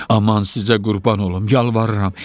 Aman sizə qurban olum, yalvarıram.